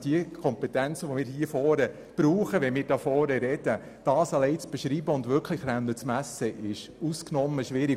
Die Kompetenzen, die wir zum Beispiel brauchen, um hier vorne zu referieren, zu beschreiben und zu messen, ist ausgesprochen schwierig.